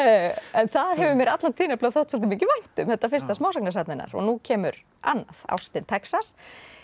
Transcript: en það hefur mér alla tíð þótt svolítið mikið vænt um þetta fyrsta smásagnasafn hennar og nú kemur annað ástin Texas